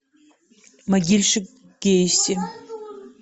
могильщик гейси